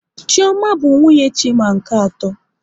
Chioma bụ nwunye Chima nke atọ